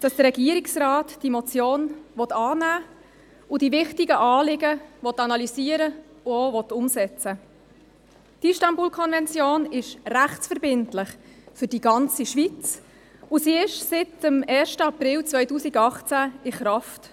Das Übereinkommen des Europarats zur Verhütung und Bekämpfung von Gewalt gegen Frauen und häuslicher Gewalt, die Istanbul-Konvention, ist rechtsverbindlich für die ganze Schweiz, und sie ist seit dem 1. April 2018 in Kraft.